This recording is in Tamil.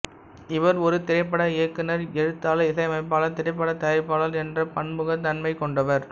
இவர் ஒரு திரைப்பட இயக்குநர் எழுத்தாளர் இசையமைப்பாளர் திரைப்படத் தயாரிப்பாளர் என்ற பன்முகத் தன்மைக் கொண்டவர்